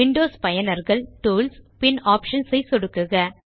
Windows பயனர்கள் tools பின் options ஐ சொடுக்குக